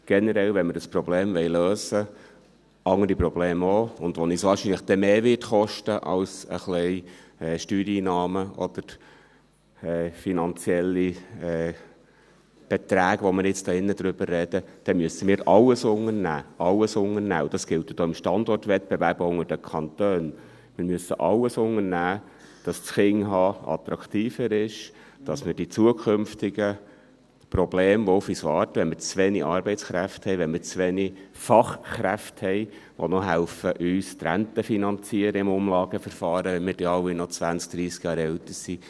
Generell, wenn wir dieses und auch andere Probleme lösen wollen, was uns wahrscheinlich dann etwas mehr kosten wird, als ein wenig Steuereinnahmen oder finanzielle Beträge, über die wir jetzt hier im Ratssaal sprechen, dann müssen wir alles unternehmen, alles unternehmen, und das gilt auch im Standortwettbewerb unter den Kantonen, wir müssen alles unternehmen, damit das Kinderhaben attraktiver ist, dass wir die zukünftigen Probleme, die auf uns warten, wenn wir zu wenige Arbeitskräfte haben, wenn wir zu wenige Fachkräfte haben, die noch helfen, uns die Rente im Umlageverfahren zu finanzieren, wenn wir alle dann 20, 30 Jahre älter sind;